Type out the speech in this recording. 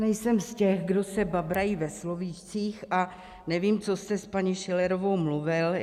Nejsem z těch, kdo se babrají ve slovíčkách, a nevím, co jste s paní Schillerovou mluvil.